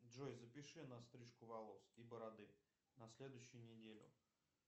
джой запиши на стрижку волос и бороды на следующую неделю